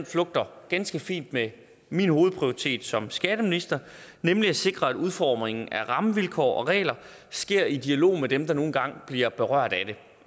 flugter ganske fint med min hovedprioritet som skatteminister nemlig at sikre at udformningen af rammevilkår og regler sker i dialog med dem der nu engang bliver berørt af